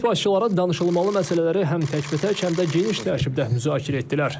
Dövlət başçıları danışılmalı məsələləri həm təkbətək, həm də geniş tərkibdə müzakirə etdilər.